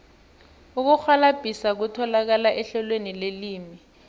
ukurhwalabhisa kutholakala ehlelweni lelimi